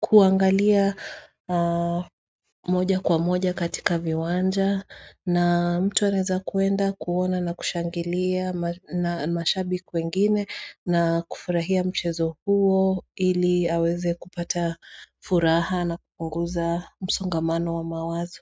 kuangalia moja kwa moja katika viwanja na mtu anaeza kwenda kuona na kushangilia na mashabiki wengine na kufurahia mchezo huo ili aweze kupata furaha na kupunguza msongamano wa mawazo.